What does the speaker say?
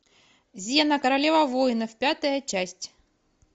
зена королева воинов пятая часть